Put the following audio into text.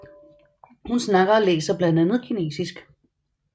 Hun snakker og læser blandt andet kinesisk